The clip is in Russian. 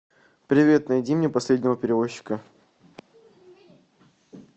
привет найди мне последнего перевозчика